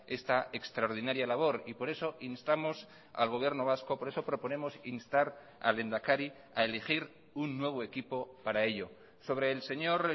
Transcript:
esta extraordinaria labor y por eso instamos al gobierno vasco por eso proponemos instar al lehendakari a elegir un nuevo equipo para ello sobre el señor